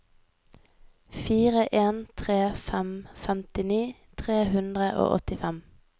fire en tre fem femtini tre hundre og åttifem